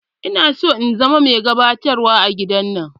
Ina so in zama mai gabatarwa a gidan.